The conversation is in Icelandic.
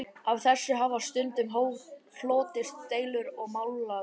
Af þessu hafa stundum hlotist deilur og málaferli.